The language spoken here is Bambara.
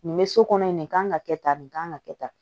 Nin bɛ so kɔnɔ yen nin kan ka kɛ tan nin kan ka kɛ tan